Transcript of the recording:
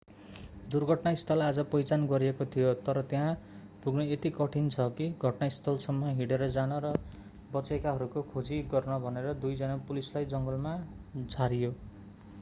दुर्घटना स्थल आज पहिचान गरिएको थियो तर त्यहाँ पुग्न यति कठिन छ कि घटनास्थलसम्म हिँडेर जान र बचेकाहरूको खोजी गर्न भनेर दुई जना पुलिसलाई जङ्गलमा झारियो